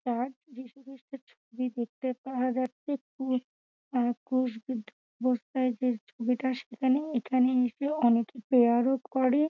যিশু খ্রিষ্টের ছবি দেখতে পাওয়া যাচ্ছে কুশ অ্যা কুশ বিদ্ধ অবস্থায় যে ছবিটা সেখানে এখানে এসে অনেকে প্রেয়ার -ও করে ।